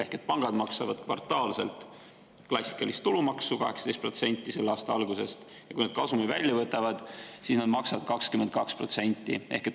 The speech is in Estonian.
Ehk pangad maksavad selle aasta algusest kvartaalselt klassikalist tulumaksu 18% ja kui nad kasumi välja võtavad, siis nad maksavad 22%.